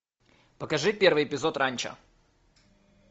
покажи первый эпизод ранчо